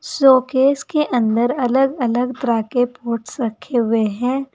Showcase के अंदर अलग अलग तरह के पोस्ट रखे हुए हैं।